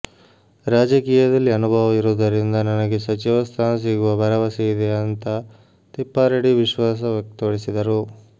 ರಾಜಕೀಯದಲ್ಲಿ ಅನುಭವ ಇರುವುದರಿಂದ ನನಗೆ ಸಚಿವ ಸ್ಥಾನ ಸಿಗುವ ಭರವಸೆ ಇದೆ ಅಂತಾ ತಿಪ್ಪಾರೆಡ್ಡಿ ವಿಶ್ವಾಸ ವ್ಯಕ್ತಪಡಿಸಿದರು